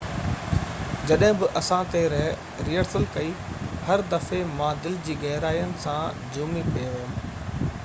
”جڏهن بہ اسان تي ريهرسل ڪئي، هر دفعي مان دل جي گهرائين سان جهومي پئي ويم..